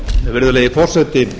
virðulegi forseti